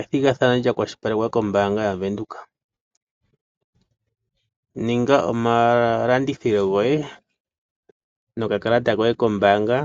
Ethigathano lya kwashilipalekwa kombaanga yaVenduka. Ninga omalandithilo goye nokakalata koye kombaanga